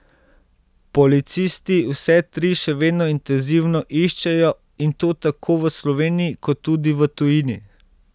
Policisti vse tri še vedno intenzivno iščejo, in to tako v Sloveniji kot tudi v tujini.